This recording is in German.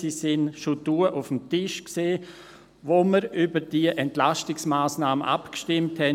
Sie lagen bereits damals auf dem Tisch, als wir über diese Entlastungsmassnahme abstimmten.